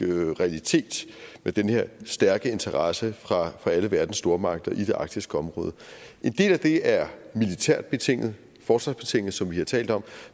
realitet med den her stærke interesse fra alle verdens stormagter i det arktiske område en del af det er militært betinget forsvarsbetinget som vi har talt om